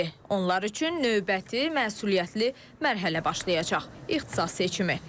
Onlar üçün növbəti məsuliyyətli mərhələ başlayacaq: İxtisas seçimi.